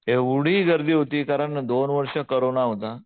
एवढी गर्दी होती कारण दोन वर्ष कोरोना होता.